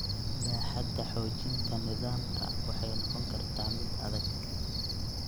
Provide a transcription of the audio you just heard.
Baaxadda xoojinta nidaamka waxay noqon kartaa mid adag.